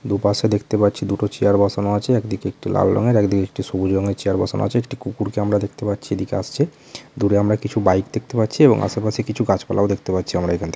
দুপাশে দেখতে পাচ্ছি দুটো চেয়ার বসানো আছে। একদিকে একটি লাল রঙের একদিকে একটি সবুজ রংয়ের চেয়ার বসানো আছে। একটি কুকুরকে আমরা দেখতে পাচ্ছি এদিকে আসছে । দূরে আমরা কিছু বাইক দেখতে পাচ্ছি এবং আশেপাশে কিছু গাছপালাও দেখতে পাচ্ছি আমরা এখান থে --